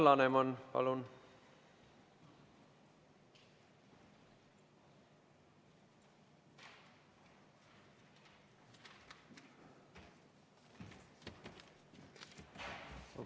Alar Laneman, palun!